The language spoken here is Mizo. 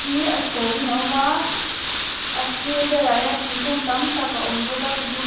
hi a chhawngin a awm a a sir velah hian thingkung tam tak a awm bawk a thingkung hi--